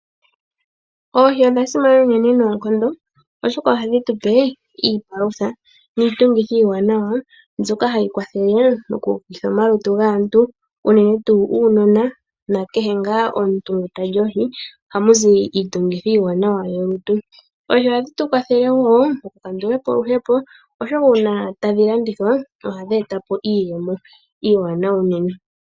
Oohi odha simana unene noonkondo oshoka ohadhi tupe iipalutha niitungithi iiwanawa, mbyoka hayi kwathele moku ukitha omalutu gaantu unene tuu uunona nakehe ngaa omuntu ngu ta li oohi, oha mu zi iitungithi iiwanawa yolutu. Oohi ohadhi tukwathele wo oku kandula po oluhepo oshoka una tadhi landithwa ohadhi etapo iiyemo iiwanawa unene.